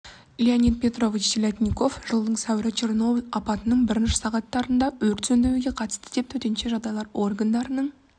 леонид петрович телятников жылдың сәуірі черноболь апаттың бірінші сағаттарында өрт сөндіруге қатысты деп төтенше жағдайлар органдарының